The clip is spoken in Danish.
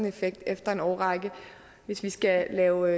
effekt efter en årrække hvis vi skal lave